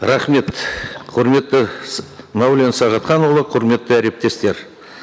рахмет құрметті мәулен сағатханұлы құрметті әріптестер